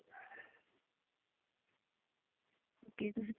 okay ਤੁਸੀਂ